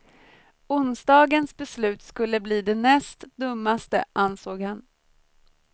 Onsdagens beslut skulle bli det näst dummaste, ansåg han.